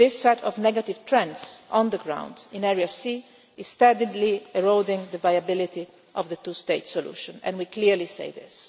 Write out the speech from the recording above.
as such. This set of negative trends on the ground in Area C is steadily eroding the viability of the two-state solution and we clearly